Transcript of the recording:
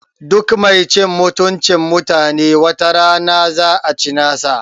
Duk mai cin mutuncin mutanen wata rana za a ci nasa